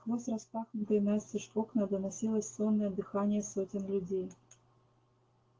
сквозь распахнутые настежь окна доносилось сонное дыхание сотен людей